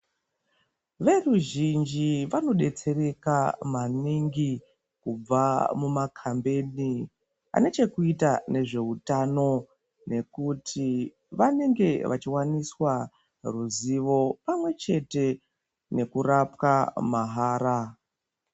Veruzhinji vanodetsereka maningi kubva mumakambeni ane chekuita nezveutano nekuti vanenge vachiwaniswa ruzivo pamwe chete nekurapwa mahara.